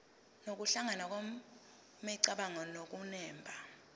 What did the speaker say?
nokuhlangana kwemicabango nokunemba